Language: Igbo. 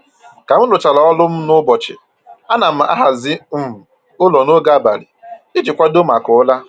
Ka m rụchara ọrụ m n'ụbọchị, ana m ahazi um ụlọ n'oge abalị iji kwadoo maka ụra